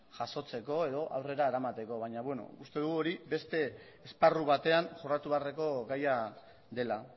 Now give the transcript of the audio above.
jasotzeko edo aurrera eramateko baina bueno uste dugu hori beste esparru batean jorratu beharreko gaia dela